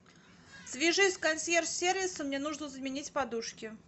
свяжись с консьерж сервисом мне нужно заменить подушки